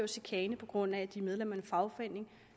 chikane på grund af at de er medlem af en fagforening